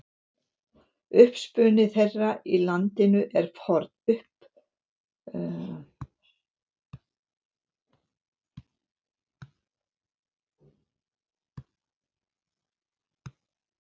Uppruni þeirra í landinu er forn.